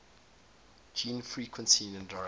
gene frequency indirectly